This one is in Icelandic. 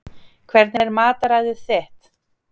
Hvernig er mataræðið þitt?